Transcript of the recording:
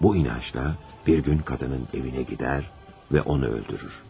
Bu inancda bir gün qadının evinə gedir və onu öldürür.